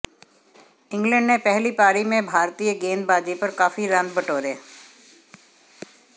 England ने पहली पारी में भारतीय गेंदबाजी पर काफी रन बटोरे